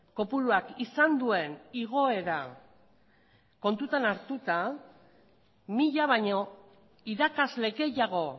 kopuruak izan duen igoera kontuan hartuta mila baino irakasle gehiago